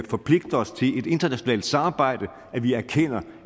forpligter os til et internationalt samarbejde at vi erkender